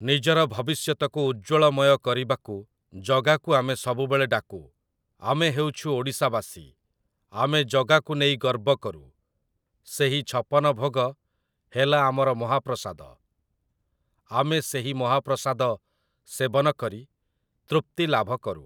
ନିଜର ଭବିଷ୍ୟତକୁ ଉଜ୍ଜ୍ଵଳମୟ କରିବାକୁ ଜଗାକୁ ଆମେ ସବୁବେଳେ ଡାକୁ । ଆମେ ହେଉଛୁ ଓଡ଼ିଶାବାସୀ । ଆମେ ଜଗାକୁ ନେଇ ଗର୍ବ କରୁ । ସେହି ଛପନ ଭୋଗ ହେଲା ଆମର ମହାପ୍ରସାଦ । ଆମେ ସେହି ମହାପ୍ରସାଦ ସେବନ କରି ତୃପ୍ତି ଲାଭ କରୁ ।